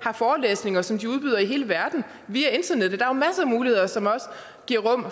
har forelæsninger som de udbyder i hele verden via internettet der er jo masser af muligheder som også giver rum